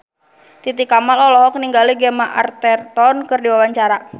Titi Kamal olohok ningali Gemma Arterton keur diwawancara